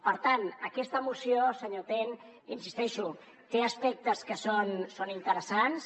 per tant aquesta moció senyor ten hi insisteixo té aspectes que són interessants